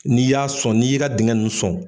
N'i y'a sɔn n'i y'i ka dingɛ ninnu sɔn.